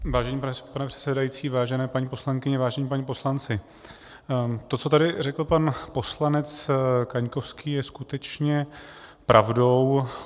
Vážený pane předsedající, vážené paní poslankyně, vážení páni poslanci, to, co tady řekl pan poslanec Kaňkovský, je skutečně pravdou.